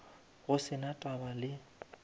go se na taba le